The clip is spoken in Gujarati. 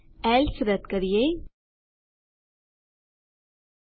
આ રદ કરીએ એલ્સે રદ કરીએ